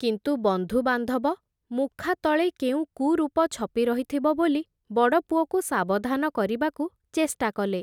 କିନ୍ତୁ ବନ୍ଧୁବାନ୍ଧବ, ମୁଖାତଳେ କେଉଁ କୁରୂପ ଛପି ରହିଥିବ ବୋଲି, ବଡ଼ପୁଅକୁ ସାବଧାନ କରିବାକୁ, ଚେଷ୍ଟା କଲେ ।